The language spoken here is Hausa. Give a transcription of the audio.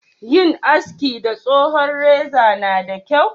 Yin haski da tsohon reza na da kyau?